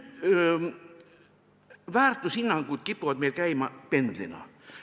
" Väärtushinnangud kipuvad meil käima pendlina.